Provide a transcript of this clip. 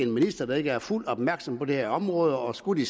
minister der ikke er fuldt opmærksom på det her område og skulle det